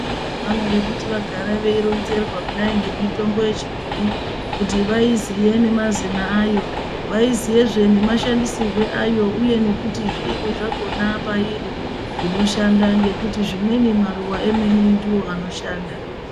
Vantu vanode kuti vagare veironzerwa kudai ngemitombo yechibhoyi kuti vaiziye nemazina ayo. Vaiziyezve nemashandisirwe ayo uye nekuti zviini zvakona pairi zvinoshanda, ngekuti zvimweni maruva emene ndiwo anoshanda.